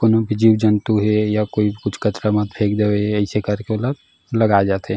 कोनो भी जीव-जन्तु हे या कोई कुछ कचरा में फेक देवे अइसे कर के ओला लगाए जाथे।